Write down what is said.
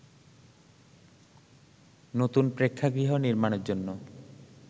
নতুন প্রেক্ষাগৃহ নির্মাণের জন্য